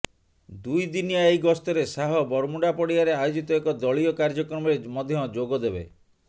ଦୁଇ ଦିନିଆ ଏହି ଗସ୍ତରେ ଶାହ ବରମୁଣ୍ଡା ପଡ଼ିଆରେ ଆୟୋଜିତ ଏକ ଦଳୀୟ କାର୍ଯ୍ୟକ୍ରମରେ ମଧ୍ୟ ଯୋଗଦେବେ